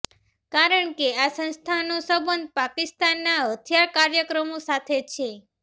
કારણ કે આ સંસ્થાનોનો સંબંધ પાકિસ્તાનના હથિયાર કાર્યક્રમો સાથે છે